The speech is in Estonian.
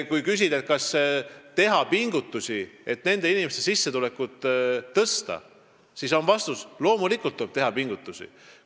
Kui küsida, kas teha pingutusi nende sissetuleku tõstmiseks, siis vastus on, et loomulikult tuleb teha pingutusi.